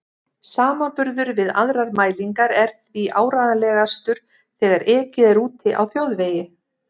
Samanburður við aðrar mælingar er því áreiðanlegastur þegar ekið er úti á þjóðvegi.